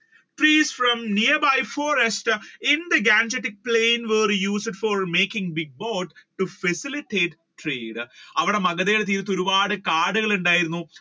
trees from nearby forest in the gangatic plain were used for making big boats to facilitate trade അവിടെ മഗധയിൽ. തീരത്ത് ഒരുപാട് കാട് ഉണ്ടായിരുന്നു,